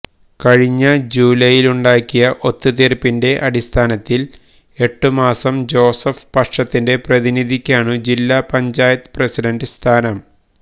കഴിഞ്ഞ ജൂലൈയിലുണ്ടാക്കിയ ഒത്തുതീര്പ്പിന്റെ അടിസ്ഥാനത്തില് എട്ടുമാസം ജോസഫ് പക്ഷത്തിന്റെ പ്രതിനിധിക്കാണു ജില്ലാ പഞ്ചായത്ത് പ്രസിഡന്റ് സ്ഥാനം